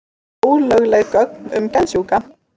Ólögleg gögn um geðsjúka